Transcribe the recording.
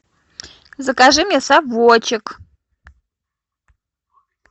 закажи мне совочек